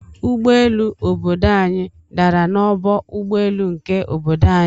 Ụgbọ elu obodo anyi dàrà na ọgbọ ụgbọelu nke obodo anyi.